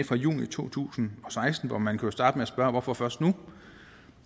fra juni to tusind og seksten og man kunne starte med at spørge hvorfor først nu